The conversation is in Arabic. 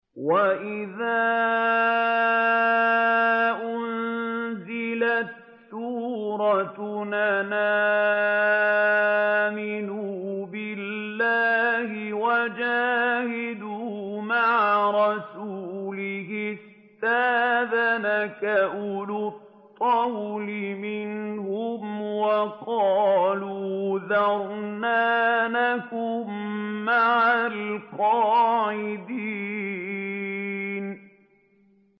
وَإِذَا أُنزِلَتْ سُورَةٌ أَنْ آمِنُوا بِاللَّهِ وَجَاهِدُوا مَعَ رَسُولِهِ اسْتَأْذَنَكَ أُولُو الطَّوْلِ مِنْهُمْ وَقَالُوا ذَرْنَا نَكُن مَّعَ الْقَاعِدِينَ